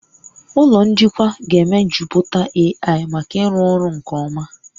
Ụlọ njikwa ga-emejuputa AI maka ịrụ ọrụ nke ọma